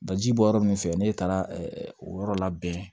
Daji bɔ yɔrɔ min fɛ ne taara o yɔrɔ labɛn